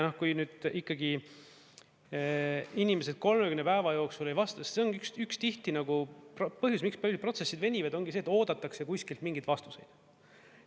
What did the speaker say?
Ja kui nüüd ikkagi inimesed 30 päeva jooksul ei vasta, see on üks tihti nagu põhjus, miks paljud protsessid venivad, ongi see, et oodatakse kuskilt mingeid vastuseid.